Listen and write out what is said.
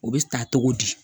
O bɛ ta cogo di